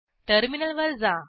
टर्मिनलवर जा